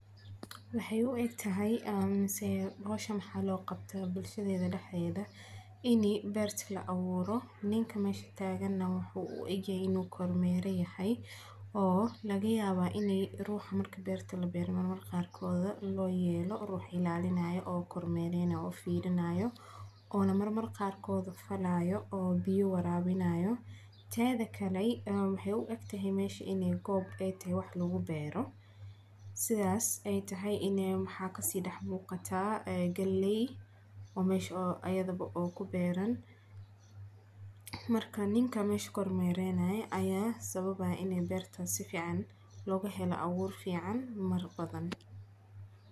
Maxeey u egtahay mise howshan waxaa loo qabtaa bulshada dexdeeda ini beerta la abuuro, ninka meesha taagan wuxuu u eg yahay inuu kor meera yahay oo laga yaaba in ruuxa marka beerta labeerayo marmarka qaar loo yeelo ruux ilaalinayo oo kor meerayo oo fiirinaayo, oona marmar qaarkooda falaayo oo biya waraabinaayo, teeda kale waxeey u egtahay meesha inaay tahay goob wax lagu beero sidaas aay tahay waxaa kasii dex muuqata galeey oo meesha ayadaba ku beeran, marka ninka meesha kor meeranayo ayaa sababaaya inaay beerta sifican looga helo abuur fican mar badan.